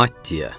Matiya.